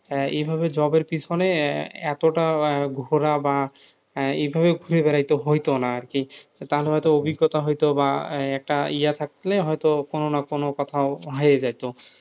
এইভাবে জবের পেছনে এতটা ঘুরা বা এভাবে ঘুরে বেড়াইতে হত না আরকি, তাহলে হয়তো অভিজ্ঞতা হয়তো বা একটা ইয়ে থাকলে হয়তোকোনো না কোনো কোথাও হয়ে যেত,